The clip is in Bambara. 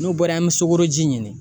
N'o bɔra yen, an be sukoroji ɲini.